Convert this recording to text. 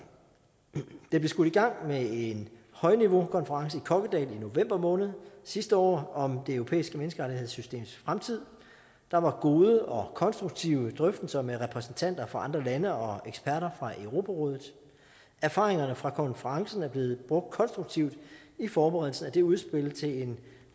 det blev skudt i gang med en højniveaukonference i kokkedal i november måned sidste år om det europæiske menneskerettighedssystems fremtid der var gode og konstruktive drøftelser med repræsentanter fra andre lande og eksperter fra europarådet erfaringerne fra konferencen er blevet brugt konstruktivt i forberedelsen af det udspil til en